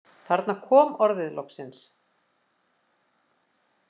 Þarna kom orðið loksins.